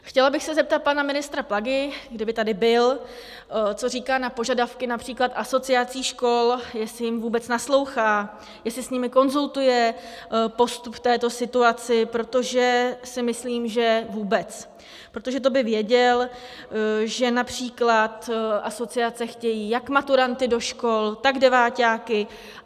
Chtěla bych se zeptat pana ministra Plagy, kdyby tady byl, co říká na požadavky například asociací škol, jestli jim vůbec naslouchá, jestli s nimi konzultuje postup v této situaci, protože si myslím, že vůbec, protože to by věděl, že například asociace chtějí jak maturanty do škol, tak deváťáky.